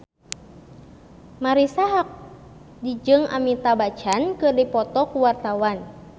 Marisa Haque jeung Amitabh Bachchan keur dipoto ku wartawan